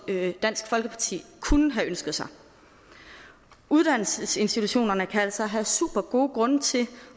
dansk folkeparti kunne have ønsket sig uddannelsesinstitutionerne kan altså have supergode grunde til